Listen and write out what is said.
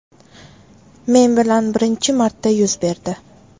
Men bilan birinchi marta yuz berdi.